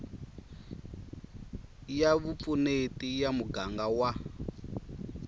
ya vupfuneti ya muganga wa